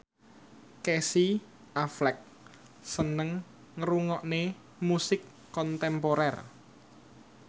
Casey Affleck seneng ngrungokne musik kontemporer